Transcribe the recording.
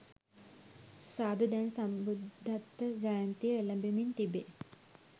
සාදු දැන් සම්බුද්ධත්ව ජයන්තිය එළඹෙමින් තිබේ.